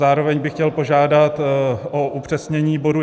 Zároveň bych chtěl požádat o upřesnění bodu